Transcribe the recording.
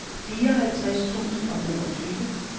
fireoghalvtreds tusind og femogtyve